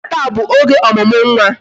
Nata bụ oge ọmụmụ nwa